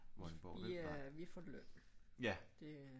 Vi øh vi får løn det